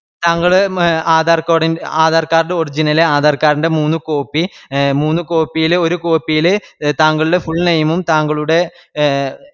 താങ്കള് മ്മ് ആധാർ card ൽ ആധാർ card original ല് ആധാർ card ൻറെ മൂന്ന് copy എ മൂന്ന് copy ല് ഒര് copy ല് താങ്കളുടെ full name ഉം താങ്കളുടെ എ